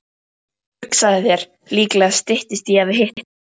Hugsaðu þér, líklega styttist í að við hittumst.